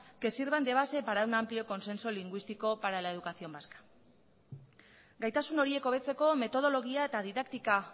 que sirvan de base para un amplio consenso lingüístico para la educación vasca gaitasun horiek hobetzeko metodologia eta didaktika